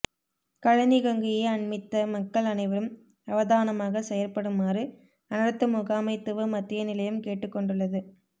களனி கங்கையை அண்மித்த மக்கள் அனைவரும் அவதானமாக செயற்படுமாறு அனர்த்த முகாமைத்துவ மத்திய நிலையம் கேட்டுக்கொண்டுள்ளது